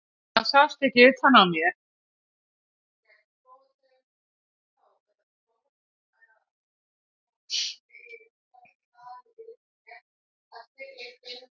Það sást ekki utan á mér.